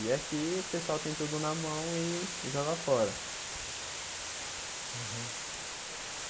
E aqui o pessoal tem tudo na mão e joga fora. Uhum